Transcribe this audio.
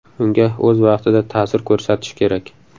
Unga o‘z vaqtida ta’sir ko‘rsatish kerak.